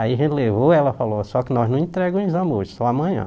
Aí a gente levou, ela falou, só que nós não entrega o exame hoje, só amanhã.